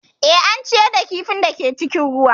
Eh, an ciyar da kifin da ke cikin ruwan